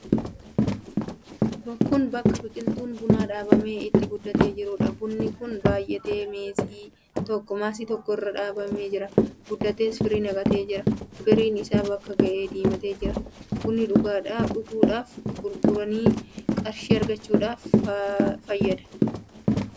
Kun bakka biqiltuun bunaa dhaabamee itti guddatee jiruudha. Bunni kun baay'atee maasii tokko irra dhaabamee jira. Guddatees firii naqatee jira. Firiin isaa bakka ga'ee diimatee jira. Bunni dhuguudhaaf, gurguranii qarshii argachuudhaaf faayidaa guddaa qaba.